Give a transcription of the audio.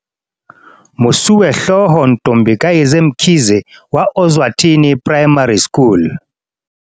Mosuwehlooho Ntombi kayise Mkhize wa Ozwathi ni Primary School